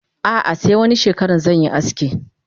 Ah ah se wani shekaran zanyi aski.